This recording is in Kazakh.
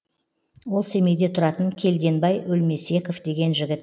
ол семейде тұратын келденбай өлмесеков деген жігіт